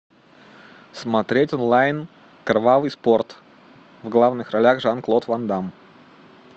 смотреть онлайн кровавый спорт в главных ролях жан клод ван дамм